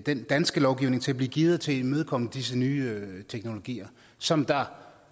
den danske lovgivning så den bliver gearet til at imødekomme disse nye teknologier som